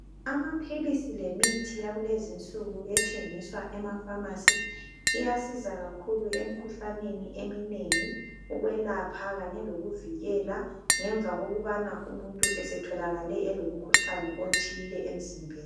Amaphilisi lemithi yakulezi nsuku ethengiswa emafamasi iyasiza kakhulu emikhuhlaneni eminengi ukwelapha kanye lokuvikela ngemva kokubana umuntu esetholakale elomkhuhlane othile emzimbeni.